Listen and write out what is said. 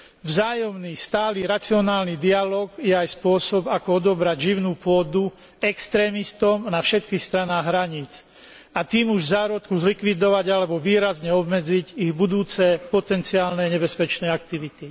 Vzájomný stály racionálny dialóg je aj spôsob ako odobrať živnú pôdu extrémistom na všetkých stranách hraníc, a tým už v zárodku zlikvidovať alebo výrazne obmedziť ich budúce potenciálne nebezpečné aktivity.